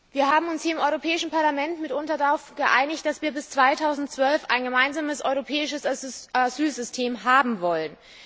Wir haben uns hier im Europäischen Parlament mitunter darauf geeinigt, dass wir bis 2012 ein gemeinsames europäisches Asylsystem haben wollen.